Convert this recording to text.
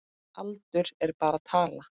Aldur er bara tala.